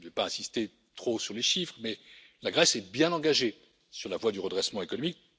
Je ne vais pas insister trop sur les chiffres, mais la Grèce est bien engagée sur la voie du redressement économique.